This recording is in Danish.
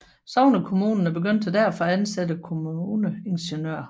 Sognekommunerne begyndte derfor at ansatte kommuneingeniører